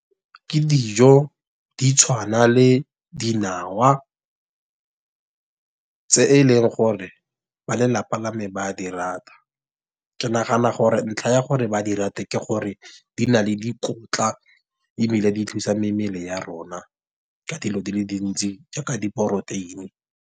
Ke dijo di tshwana le dinawa tse e leng gore ba lelapa lame ba a di rata. Ke nagana gore ntlha ya gore ba di rate ke gore di na le dikotla ebile di thusa mebele ya rona ka dilo di le dintsi jaaka diporoteini.